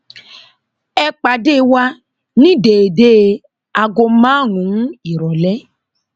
ẹ pàdé wa ní déédéé aago márùnún ìrọlẹ